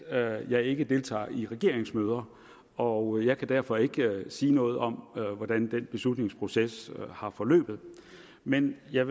at jeg ikke deltager i regeringsmøder og jeg kan derfor ikke sige noget om hvordan den beslutningsproces har forløbet men jeg